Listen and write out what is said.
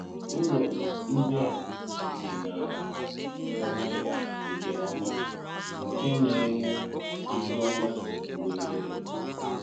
Ùlọ́ ndị a dị n’álà òmà nke òmà nke na-enwé ihu òmà mgbe niile.